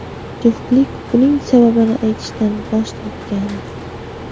Juftlik buning sababini aytishdan bosh tortgan.